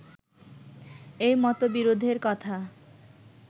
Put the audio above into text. এই মতবিরোধের কথা